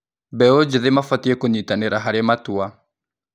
Mbeũ njĩthĩ mabatiĩ kũnyitanĩra harĩ matua.